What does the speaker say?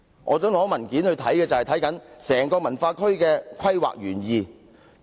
我支持索取的文件，正正關乎整個文化區的規劃原意。